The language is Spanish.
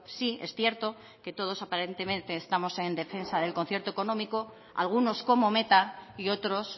sí es cierto que todos aparentemente estamos en defensa del concierto económico algunos como meta y otros